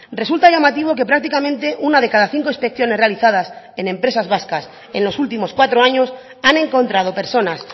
resulta llamativo que prácticamente una de cada cinco inspecciones realizadas en empresas vascas en los últimos cuatro años han encontrado personas